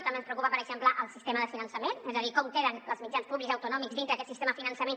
també ens preocupa per exemple el sistema de finançament és a dir com queden els mitjans públics autonòmics dintre d’aquest sistema de finançament